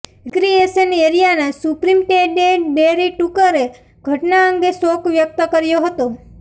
recreation એરિયાના superintendent Terry Tucker ઘટના અંગે શોક વ્યક્ત કર્યો હતો